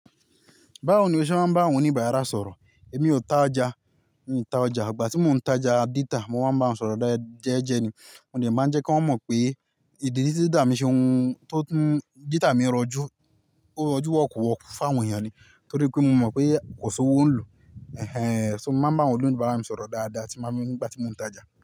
Báwo ni o ṣe máa ń bá àwọn oníbàárà sọ̀rọ̀? Èmi ò ta ọjà, mi ò ta ọjà. Ìgbà tí mò ń tajà dítà, mo máa ń bá wọn sọ̀rọ̀ dáa jẹ́ẹ́jẹ́ ni. Mo dè máa ń jẹ́ kí wọ́n mọ̀ pé ìdí tí dítà mi ṣe ohun tó ń, dítà mi ń rọjú, ó rọjú wọ́kùwọ́ fún àwọn èèyàn ni. Nítorí pé mo mọ̀ pé kò ṣọ́wọ́ ń lu. Ehen. So mo máa ń bá àwọn ololubara mi sọ̀rọ̀ dáa dáa tí máa ń bá mi nígbà tí mò ń tajà.